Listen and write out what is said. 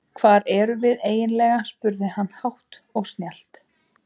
Hvar erum við eiginlega spurði hann hátt og snjallt.